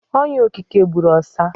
Onya okeke gburu ọsa.